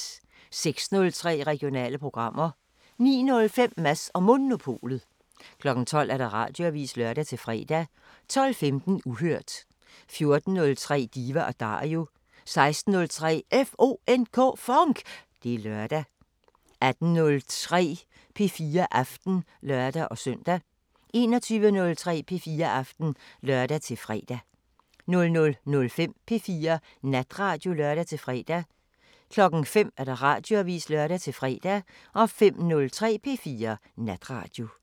06:03: Regionale programmer 09:05: Mads & Monopolet 12:00: Radioavisen (lør-fre) 12:15: Uhørt 14:03: Diva & Dario 16:03: FONK! Det er lørdag 18:03: P4 Aften (lør-søn) 21:03: P4 Aften (lør-fre) 00:05: P4 Natradio (lør-fre) 05:00: Radioavisen (lør-fre)